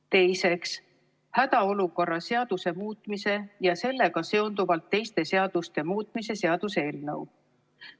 Teiseks, hädaolukorra seaduse muutmise ja sellega seonduvalt teiste seaduste muutmise seaduse eelnõu.